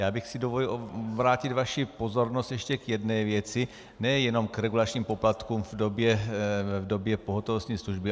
Já bych si dovolil obrátit vaši pozornost ještě k jedné věci, nejenom k regulačním poplatkům v době pohotovostní služby.